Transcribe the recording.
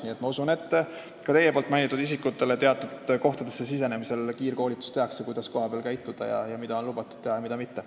Nii et ma usun, et ka teie mainitud isikutele tehakse teatud kohtadesse sisenemisel kiirkoolitust, kuidas kohapeal käituda ning mida on lubatud teha ja mida mitte.